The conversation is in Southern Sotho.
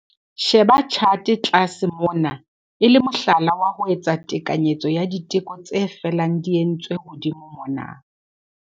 Sheba tjhate tlase mona e le mohlala wa ho etsa tekanyetso ya diteko tse felang di entswe hodimo mona.